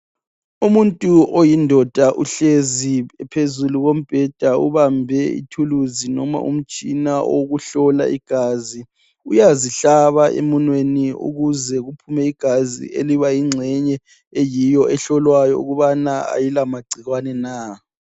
Umuntu wesilisa uhlezi phezukombheda ubambe ithuluzi loba umtshina lokuzihlola igazi, uyazihlaba emunweni okuphuma khona igazi elinxenye elitshengisa ukuba alaka gcikwana na.